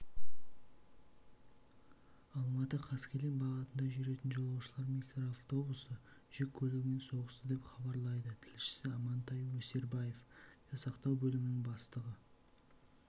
алматы-қаскелең бағытында жүретін жолаушылар микроавтобусы жүк көлігімен соғысты деп хабарлайды тілшісі амантай өсербаев жасақтау бөлімінің бастығы